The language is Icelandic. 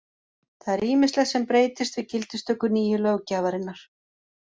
Það er ýmislegt sem breytist við gildistöku nýju löggjafarinnar.